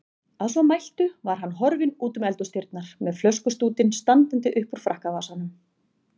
Að svo mæltu var hann horfinn útum eldhúsdyrnar með flöskustútinn standandi uppúr frakkavasanum.